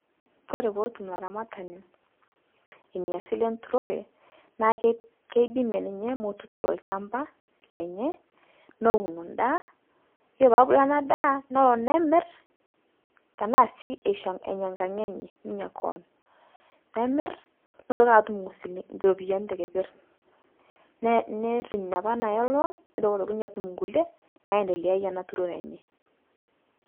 Koree peetum laramatani inia silee enturoree naa keidimie ninyee motuturoo lchampaa Lenye nowun ndaa Kore peebulu ana daa nemir tanaa sii enya nkang' enye koon nemir neitoki atum ropiyani tekeper neriny napa nawaa loan neitokii otoki ninyee atum nkulie naideleayie ana turoree enyee.